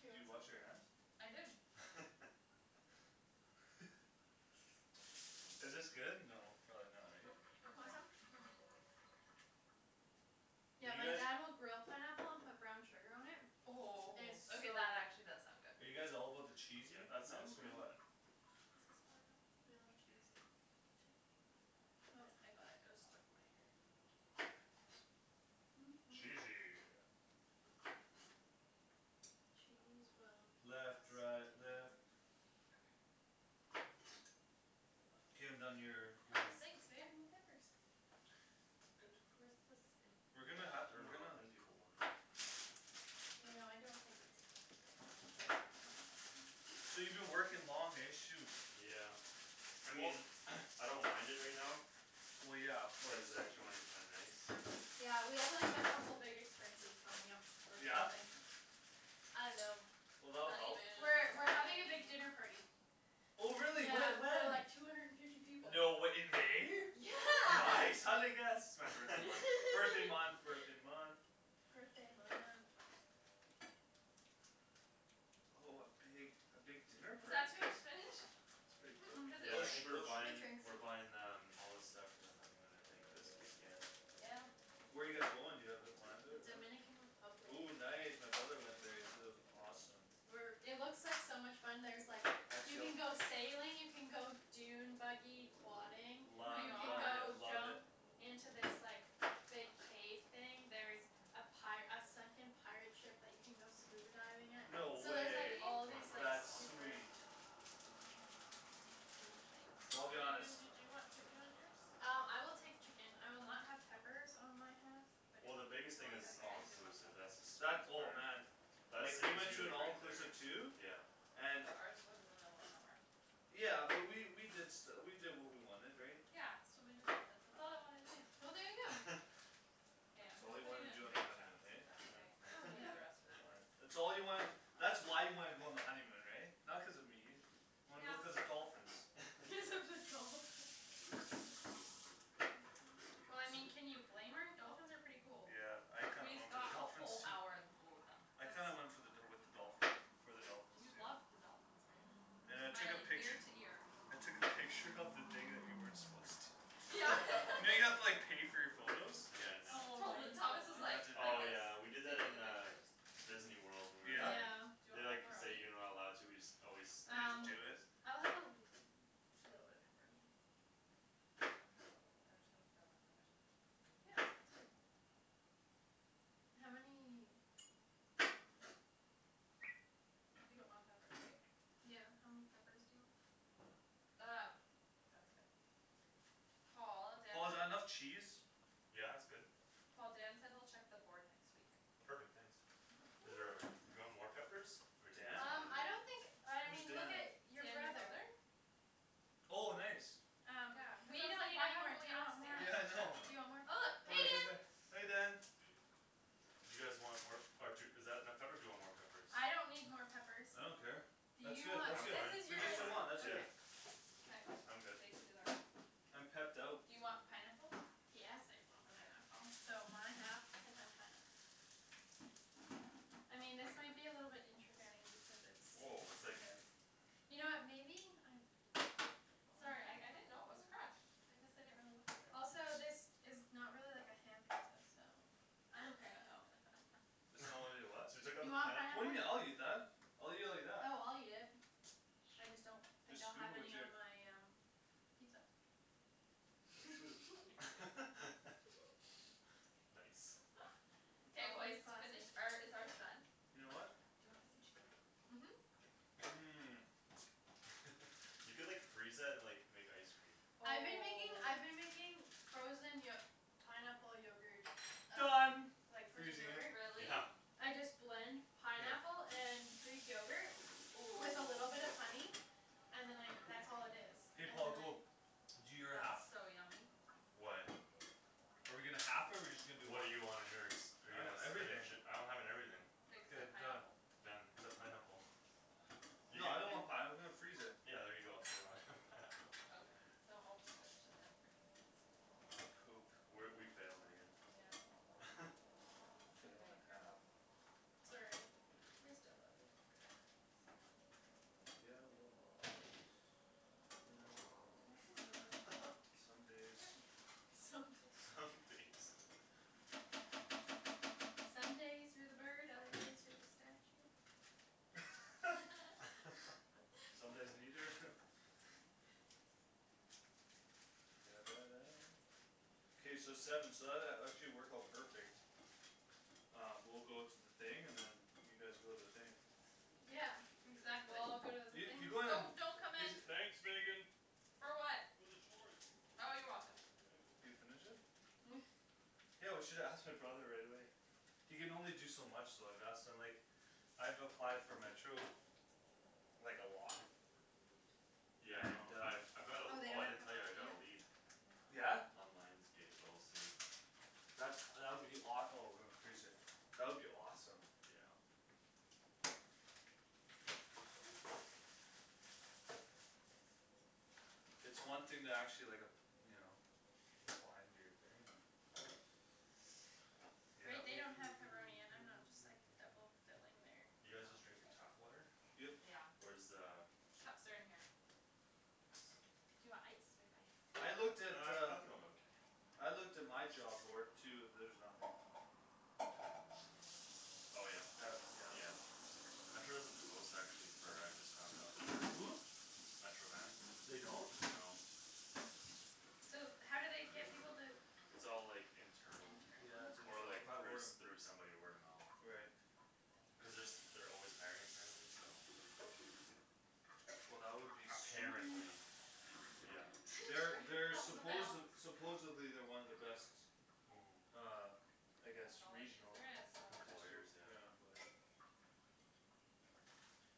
Here you Did you want wash your hands? some? I did Is this good? No, probably not right? Want some? Mhm Do Yeah you my guys dad will grill pineapple and put brown sugar on it Oh, It's so okay that good actually does sound Are good you guys all about the Yeah that sounds cheesiness or good Mhm what This is falling off We love cheese Oh, I got it, it was stuck in my hair Mm mm mm Cheesy Cheese will keep us Left right left together Okay K I'm done your, Oh, your thanks babe, more peppers Good Where's the We're spinach? gonna ha- I we're dunno how gonna thin people want them You know I don't think it's a good deal So you been working long, hey? Shoot Yeah I Well mean I don't mind it right now Well yeah of Cuz course the extra money's kinda nice Yeah we have like a couple big expenses coming up, or Yeah? something I dunno Well that'll help We're Honeymoon, we're having a big wedding dinner party Oh really? Yeah Whe- for when? like two hundred and fifty people No way, in May? Yeah Nice, how'd I guess? It's my birthday month, birthday month birthday month Birthday month Oh a big, a big dinner Was party, that too eh? much spinach? That's pretty cool, Cuz it it Yeah will I sh- think it we're will shrinks shrink It buying, shrinks we're buying um all the stuff for the honeymoon I think this weekend Yeah Where you guys going, do you have it planned out? Dominican Republic Ooh nice, my brother went there, he said it was awesome We're it looks like so much fun, there's like, you Actually I'll can go sailing, you can go dune buggy quadding Oh my Lo- You can love it, go gosh love it jump into this like, big cave thing, there's a pi- a sunken pirate ship that you can go scuba diving at No So Really? there's like way all Wanna these draw like That's stuff on? super sweet Cool things Well I'll be honest Shandryn do you want chicken on yours? Uh, I will take chicken, I will not have peppers on my half But if Well the you biggest thing want it's Okay, it's all I peppers do want inclusive, that's the peppers That, sweetest oh part man That Like, we saves went to you an like right all-inclusive there too Yeah And But ours was in the middle of nowhere Yeah, but we, we did stu- we did what we wanted, right? Yeah, swimming with dolphins, that's all I wanted to do Well there you go K, That's I'm all just you putting wanted to it do in on your big honeymoon, chunks, is that eh? okay? I guess Oh we'll leave the yeah rest for the That's boys fine That's all you wanted, that's why you wanted to go on the honeymoon, right? Not cuz of me Wanted to go Yeah cuz of the dolphins Cuz of the dolphins Well I mean, can you blame her? Dolphins are pretty cool Yeah, I kinda We went for the got a dolphins whole too hour in the pool with I That's them kinda went for the dol- with the dolphins, for the dolphins, You too loved the dolphins, babe You were And I took a smiling pict- ear to ear I took a picture of the thing that you weren't supposed to Yeah You know you have to like pay for your photos? Nice Oh my Tot- Thomas was That gosh like, didn't like Oh happen this, yeah we did that taking in the uh pictures Disneyworld when we were Yeah? Yeah Do there you They want like say pepperoni? you're not allowed to, we just always snipe You just do Um it? photos I'll have a l- little bit of pepperoni, yeah K I'm just gonna put a little, I'm just gonna fill in where there's no chicken Yeah, that sounds good How many, um You don't want peppers, right? Yeah, how many peppers do you want Um, that's good Paul, Dan Paul is that enough said cheese? Yeah it's good Paul, Dan said he'll check the board next week Perfect, thanks Is there Woo a, do you want more peppers, or do you think Dan? it's Um, fine I here don't think, I Who's mean look Dan? at your Dan, your brother brother? Oh nice Yeah, Um, cuz we I was don't like need why any more, haven't do we you want asked more, do Yeah I Dan? know you want Oh more, look, hey Dan peppers Hey Dan Do you guys want more, or d- is that enough peppers do you want more peppers I don't need more peppers I don't care Do That's you good that's I'm want, good, this fine, is with you I'm just guys' the fine one, that's yeah good K, I'm good they can do their own I'm pepped out Do you want pineapple? Yes I want Okay pineapple So my half can have pineapple I mean this might be a little bit Here interesting because it's Whoa it's it's like kind of You know what, maybe, I Sorry, I I didn't know it was crushed I guess I didn't really look at the Also this is not really like a ham pizza, so It's not really a what? So you took out You the want pan What do you mean? I'll eat pineapple? that I'll eat it like that Oh I'll eat it I just don't think Just I'll scoop have it with any your on my um pizza Oh shoot Nice Nice K boys, Always finish, classy or is ours done? Your what? Do you wanna put some cheese on top? Mhm Okay Mm You could like freeze that and like, make ice cream I've been making I've been Oh making frozen yo- pineapple yogurt Done from Like like frozen frozen yogurt. yogurt Really? Yeah I just blend Yeah pineapple and greek yogurt Oh with a little bit of honey And then I that's all it is K Paul, go Do your half That's so yummy Why? Are we gonna half it or we just gonna do What one? do you want on yours? Are you I have gonna everything spinach it, I'm having everything Like The done pineapple Done, except pineapple You Yeah I can, don't you want pineapple, let's freeze it Yeah there you go, so we're not having pineapple Okay, so I'll just finish it then, for you guys We're, we failed Megan Yeah It's Fail and okay, a here half man Sorry We still love you Yeah, somewhat Yeah well, you know Can I have the scissors? Some days Yep Some Some days days Some days you're the bird, other days you're the statue Some What? days neither? K so seven so that that actually worked out perfect Uh, we'll go to the thing, and then you guys go to the thing Yeah We Exactly all go to the Yeah you things go to Oh, don't come the, is in uh- For what? Oh you're welcome Can you finish it? Mm Yeah, we should have asked my brother right away He can only do so much though, I've asked him like, I've applied for Metro, like a lot Yeah I know, And uh I've I've got a, Oh they oh I don't didn't have tell you, I pepperoni got a yet? lead No Yeah? On Lions Gate, but we'll see That's, that would be awe- oh that would be awesome Yeah It's one thing to actually like ap- you know, apply and do your thing, uh They Yep they don't have pepperoni and I'm not just like double filling their You y'know guys just drinking tap water? Yep Yeah Where's the Cups are in here Do Thanks you want ice? We have ice Uh, I looked at uh, I think I'm okay I looked at my job board too, there's nothing Oh yeah? Uh, yeah Yeah Metro doesn't post actually for, I just found out Hm? Metro Van? They don't? No So how do they get people to It's all like, internal Yeah, Internal? it's Or internal, or like by through word of s- through somebody word of mo- mouth Right That's Cuz they're brutal s- they're always hiring apparently, so Well that would be Mm sweet Apparently Yeah They're they're That was a supposed, fail supposedly they're one of the best, Mhm uh I And guess that's all the cheese regional there is, so Employers, yeah yeah, employer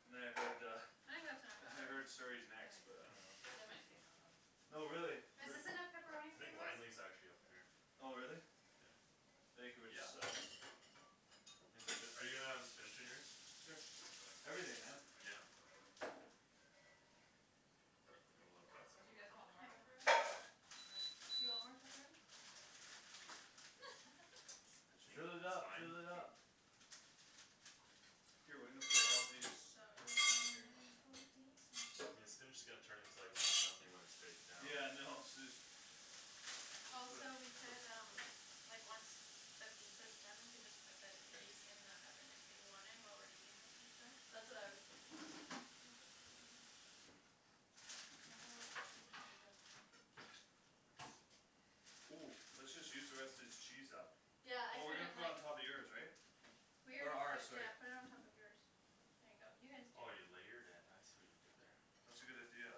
And then I heard uh, I think that's enough I pepperoni heard Surrey's I next think but so too, um they might say no though No really, but Is this enough pepperoni I for you think boys? Langley's actually up there Oh really? Yeah Vancouver sucks Are you gonna have spinach on yours? Sure, everything, man Yeah You want more on that Do you guys side? want more pepperoni on Yep that, or? I think Fill it that's up, fine fill it up K we're I'm gonna put all of these so in here excited for pizza I mean the spinach is gonna turn into almost nothing when it's baked down Yeah I know, Also we could um Like once the pizza's done we could just put the cookies in the oven if we wanted, while we're eating the pizza That's what I was thinking Think this is done My whole gonna be Mm, let's just use the rest of this cheese up Yeah, I Well we're put gonna it put it on on top of yours, right Or Yeah, ours, sorry yeah put it on top of yours There you go, you guys Oh do you it layered it, I see what you did there That's a good idea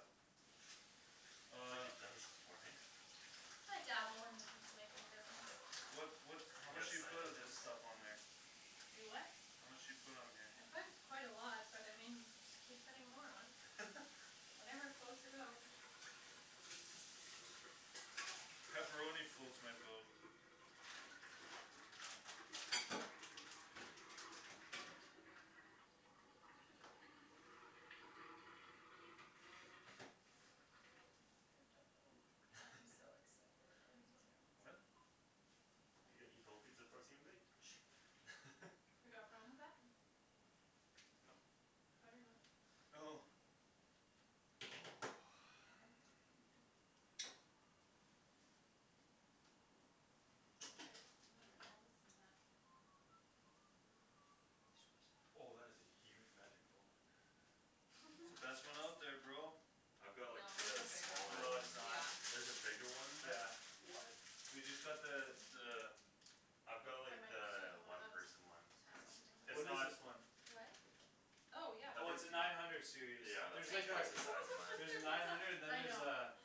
It's like Uh you've done this before, eh? I dabble in the pizza making business What what You how much got do you side put of this business? stuff on there? You what? How much do you put on here? I put quite a lot, but I mean y- just keep putting more on Whatever floats your boat Pepperoni floats my boat I'm so Me excited for too What? pizza You gonna eat the whole pizza before it's even baked You got a problem with that? No Oh Okay, I'm gonna put all this in the Oh that dishwasher is a huge magic bullet It's the best Yeah one out there, bro I've got like No, there's a the bigger one, smaller No it's one not yeah There's a bigger one than Yeah that? What? We just got the, the I've got like Yeah the one one of those person one It's What is not this one? Oh Oh yeah, yeah I Oh it's think please a do nine hundred series, Yeah that's there's Oh my like like a twice the size of gosh, mine look at There's a their nine pizza hundred and then I there's a, know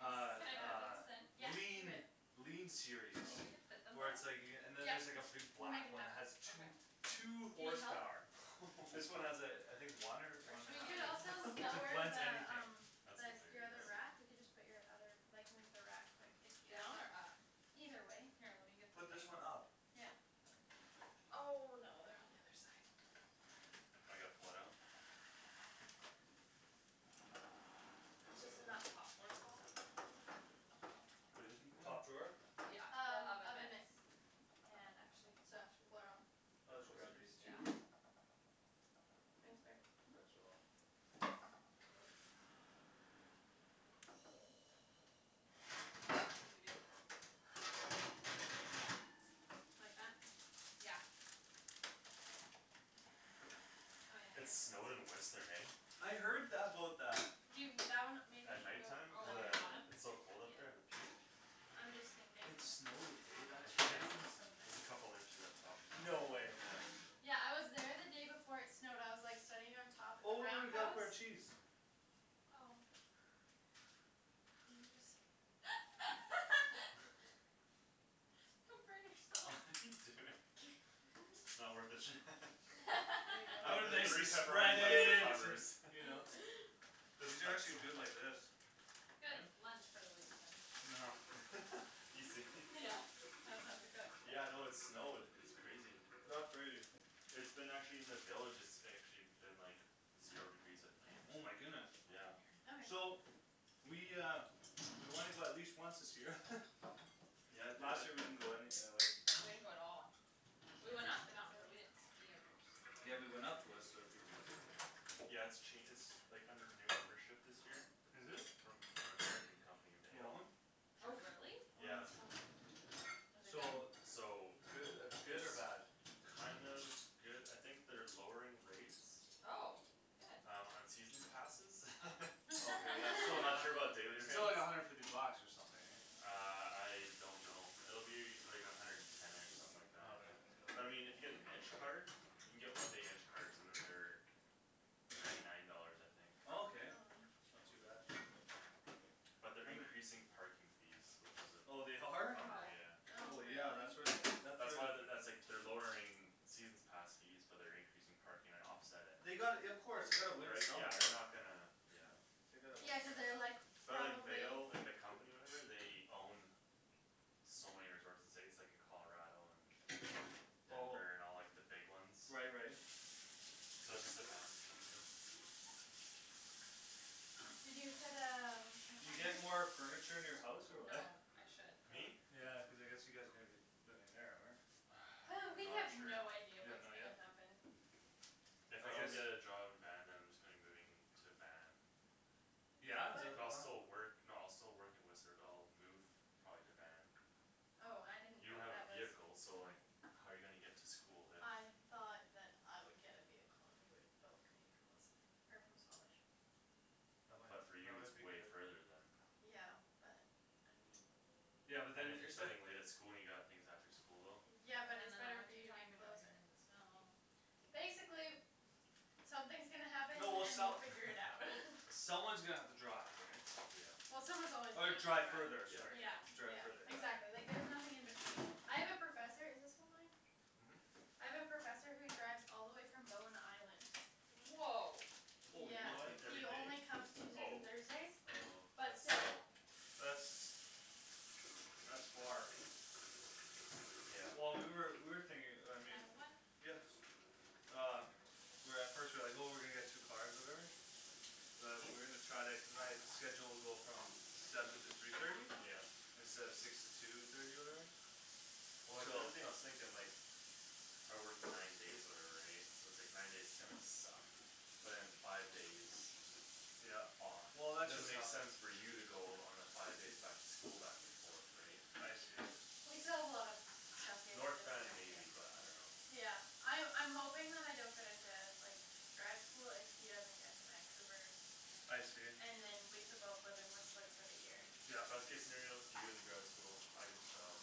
a, Can like I a that put? Yeah, do lean it lean series Do you think we can fit Oh them Where both? it's like you c- and then there's like a Yeah, big we'll make black it one that has happen two, Okay two Do you need help? horsepower This one What has a, I think one or one Or and a should We we do half could also like, maybe, it j- layer blends the the anything um, That's the s- the hilarious other wrap, we Yeah can just put your other, like move the wrap quick if you Down or up? Either way Here, let me get the Put things this one up Yeah Oh no, they're on the other side Now I gotta pull it out? Yeah It's just in that top drawer, Paul What're you looking for? Top drawer? Yeah, the Um, oven oven mitts mitts And actually The These coasters? Yeah two Thanks babe Might as well Mhm Need a big Like that? Yeah Oh yeah I It guess it's snowed in Whistler, eh I heard th- about that You that one maybe At should night go time, Oh, cuz on the uh, bottom? underneath it's so cold up there Yeah at the peak? I'm just thinking It snowed, eh? That's This Yeah crazy place is so There's a messy. couple inches up top now, No way yeah Yeah I was there the day before it snowed, I was like sitting on top of the Oh Roundhouse? our cheese Oh Couldn't you just Come burn What yourself are you doing? It's not worth it Shan There you The I would go the nicely three spread pepperoni bites it it, and covers you know But Just these are actually good like this Good, lunch for the week then Know Easy Yeah, I don't have to cook Yeah no it snowed, it's crazy That's crazy It's been actually in the villages it's actually been like Zero degrees at K, night I'm Oh just my gonna throw goodness all these Yeah all over Okay here So We uh, we wanna go at least once this year Yeah do Last it year we didn't go any uh, like We didn't go at all We That's went up the mountain but we expensive didn't ski or Yeah we went snowboard up to Whistler a few times Yeah it's ch- it's like, under new ownership this year Is it? From an American company, You want Vail? one? Oh really? Oh Yeah it's so good Is it good? So So Goo- good It's or bad? kind of good, I think they're lowering rates Oh, good Um, on seasons passes Oh Oh okay yeah, so I'm th- not sure about daily rates still like a hundred fifty bucks or something eh Uh, I don't know, it'll be like a hundred and ten-ish, something like that Okay But I mean if you get an edge card? You can get one day edge cards and then they're Ninety nine dollars I think Oh Okay, not too bad But they're I'm a increasing parking fees, which is Oh they a are? bummer, Oh yeah Oh Oh yeah, really? that's where they, that's where That's why they're, that's like they're lowering seasons pass fees, but they're increasing parking to offset it They gotta y- of course, they gotta win Right, yeah somewhere they're not gonna, yeah No They gotta win Yeah cuz they're like, some But like probably Vail, like the company or whatever they own So many resorts in the States, like in Colarado and Oh Denver and all like the big ones Right right So it's just a massive company You said um, You get more furniture in your house or No, what I should Me? though Yeah, cuz I guess you guys are gonna be living there, or? Hey, we Not have sure no idea You don't what's know gonna yet? happen If If I I guess don't get a job in Van then I'm just gonna be moving to Van Yeah? Is that the But I'll plan? still work, no I'll still work in Whistler but I'll move probably to Van Oh, I didn't You don't think have a that was vehicle, so like how you gonna get to school if I thought that I would get a vehicle and we could both commute from Whistler, or from Squamish That might, But for that you it's might be way good further then Yeah, but, I mean Yeah but And then, if you're it- the studying late at school and you got things after school, though Yeah And then but in it's the better for winter you to be time you're closer driving in the snow Basically something's gonna happen No well and we'll some- figure it out Someone's gonna have to drive, right Yeah Yeah someone's always gonna Or have to drive further, drive sorry Yeah, Yeah Drive yeah further, exactly, like yeah there's nothing in between I have a professor, is this one mine? Mhm I have a professor who drives all the way from Bowen Island Whoa Yeah, Holy What, monkey he every only day? comes Tuesdays and Oh Thursdays, Oh, but but still still That's That's far Yeah Well we were, we were Can thinking I I mean have one? Um We were at first, we were like oh we're gonna get two cars or whatever But we're gonna try to, cuz my schedule will go from seven to three thirty Yeah Instead of six to two thirty or whatever Well like the So only thing I was thinking like I work nine days or whatever right, so it's like nine days are gonna suck But then five days Yeah off Well It that's doesn't just make how sense for you to go on a five days back to school back and forth right I see We still have a lot of stuff we have North Van maybe but I dunno Yeah, I- I'm hoping that I don't get into like, grad school if he doesn't get to Vancouver I see And then we can both live in Whistler for the year Yeah Best case scenario, you get into grad school, I get the job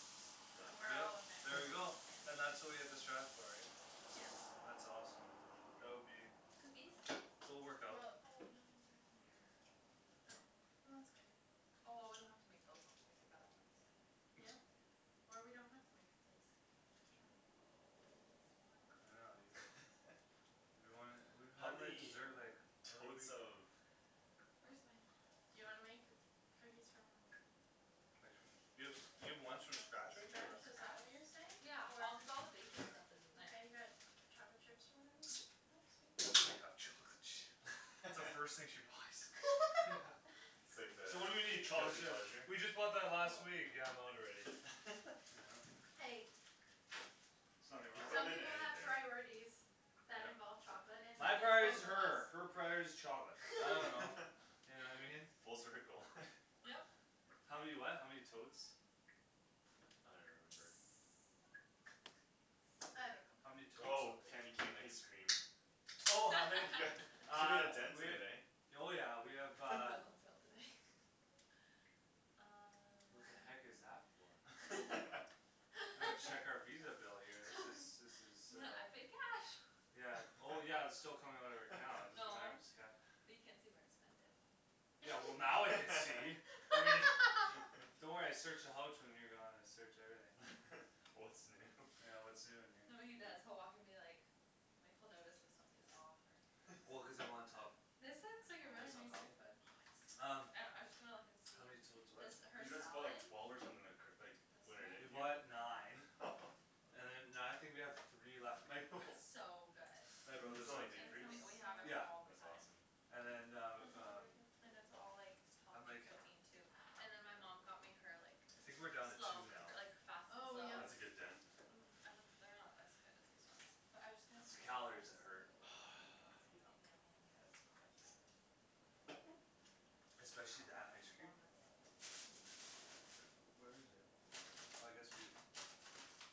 Then Done we're Yeah, all in Vanco- there we go yeah And that's what we have to strive for, right Yeah That's awesome That would be Cookies? It'll work Well Oh no out they're in there Oh, well that's good Oh well we don't have to make those ones, we can make the other ones Yep, or we don't have to make cookies True Be nice I Oh I will dunno, you You don't wanna, we, How how do I many desert like totes of Where's my Do you wanna make cookies from Like from, you have, you have From ones scratch, from scratch right here or what is that what you're Scratch? Yeah, all cuz all the saying? Or baking stuff You is in there got chocolate chips or whatever? That's the first thing she buys Yeah It's like the So what do we need? Chocolate guilty chips pleasure? We just bought that last Oh week, yeah I'm out already Yeah Hey There's nothing They throw wrong Some with them in people have anything priorities that involve Yeah chocolate and when My priority's it's both of her, her us priority's chocolate, I dunno You know I mean? Full circle Yep How many what? How many totes I don't Mm even remember I How many don't know totes Oh, candy something cane ice cream Oh how many Yeah, you made Uh, a dent we in have it eh Oh yeah we have That uh was on sale today Uh What the heck is that for? I'm gonna check our Visa bill here, this is this is uh N- I paid cash Yeah, oh yeah but it's still coming out of our account, doesn't No matter if it's cash But you can't see where I spent it Yeah well now I can see I mean Don't worry I search the houch when you're gone, I search everything What's new Yeah what's new in here No what he does, he'll walk in be like, like he'll notice if something's off or Well cuz I'm on top This looks like a I'm really always on nice top cookbook Um I know, I was just gonna look and see, How many totes what this Cuz her you guys bought salad like twelve or something like c- like This We bought one? nine And then now I think we have three left, my b- It's so good My Put brother's some in like deep That And freeze? we sounds so we have it good Yeah all the That's time awesome And then That uh, sounds really um good And it's all like And healthy like cooking too And then my mom got me her like, I think we're down to two slow now cooker, like fast and Oh yum slow? That's a good I know dent Mm, I don't, they're not as good as these ones, but I'm just gonna It's see if the she calories has that hurt Yep Something yummy in here that's quick Hmm Especially that don't ice have cream walnuts, but Where is it? Oh I guess we have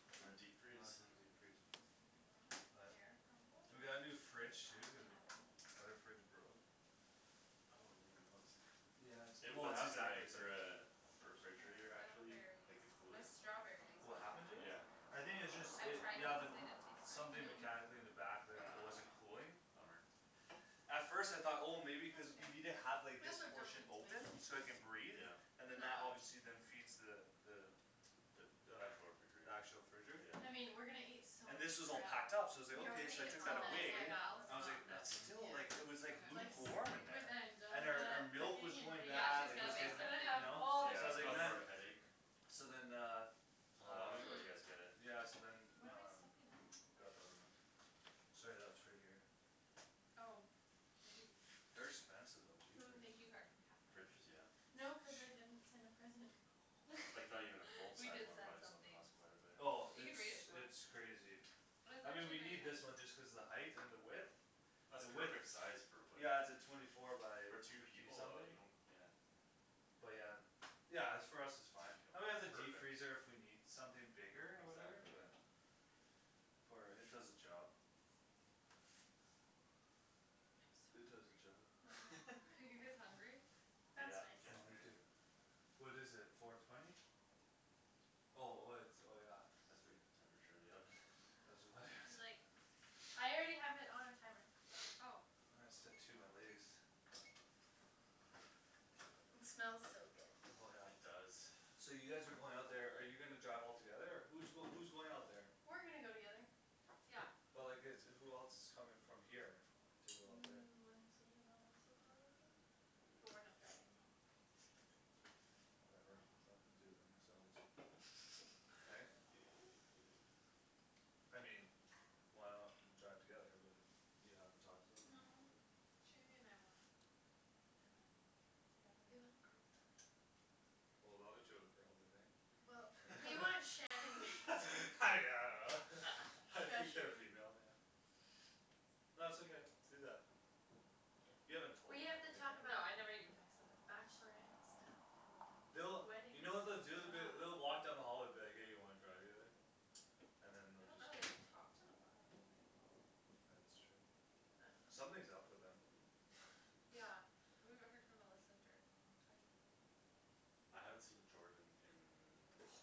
In the Oh it's deep freeze? in the deep freeze Banana warm up pear We got a new crumble? fridge That'd too, cuz be o- yummy Other fridge broke Oh I didn't even notice that Yeah it's, well What it's happened to exactly it, the same uh, the Poached pears, refrigerator I don't have actually, berries like the I cooler? have strawberries, but What not happened to it? Yeah I raspberries think it's just I've it, tried yeah the m- these, they didn't taste very Something good Mm- No? mechanically in the Ah, back t- mm it wasn't cooling bummer At first I thought oh That's maybe cuz okay, you need I to guess have like I this don't portion need to open, so make it can any breathe Yeah And then No, that I don't obviously need then to feeds the the The The actual the refrigerator actual fridge Yeah I mean, we're gonna eat so And much this was all crap packed up, so I Yeah was like we're gonna okay, eat so I at Val's, took that oh Tonight away at I yeah was Val's? like, let's Mm, not it then nothing? Yeah still like, it was like Like s- okay lukewarm in with there And our our Angelica milk was cooking and going baking, Yeah, bad, she's like it gonna was bake she's getting, gonna something have you Ah know, all the so Yeah I was it's like goodies caused man more of a headache So then uh How Uh long ago you guys get it? Mm Yeah so then What am I um, stepping on? got the other one Sorry that's for here Oh Did you, They're expensive though, jeepers thank you card from Catherine Fridges? Yeah No cuz I didn't send a present Oh Like not even a full We size did one send probably still something costs quite a bit Oh You it's can read it if you want it's crazy It was I mean we actually very need this nice one just cuz the height and the width That's The width perfect size, for what Yeah it's a twenty four by For two fifty people uh, something you don't, yeah But yeah, yeah it's for us it's fine And we have the Perfect deep freezer if we need something bigger, or whatever, Exactly yeah yeah For it does the job I'm It does the so hungry job Mhm Are you guys hungry? That's Yeah, Oh getting me there nice too What is it, four twenty? Oh oh it's, oh yeah That's the temperature of the oven Do like I already have it on timer Ah Oh I my It smells so Oh yeah good It does So you guys are going out there, are you gonna drive all together or, who's going who's going out there We're gonna go together Yeah But like it's, who else coming from here, to go out there Mm Lindsay and Melissa, probably? But we're not driving them Whatever, let them do it themselves Right? I mean Why not w- drive together, but if you haven't talked to them or No whatever Shandy and I want time together We want girl time Well the other two are girls, aren't they Well, Eh we want Shan yeah and I don't know Shush, I think you they're female, yeah No it's okay, do that You Yeah, haven't told we them or have to anything talk No, about I never right bachelorette even texted them stuff and They'll, wedding you know what stuff they'll do, they'll be, they'll walk down the Yeah hall and be like hey you wanna drive together? And then I they'll don't just know, go they haven't talked in a while, like Ah that's true I dunno Something's up with them Yeah, we haven't heard from Melissa and Jordan in a long time I haven't seen Jordan Oh